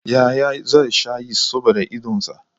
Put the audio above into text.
Yahaya zai sha Yist saboda idonsa.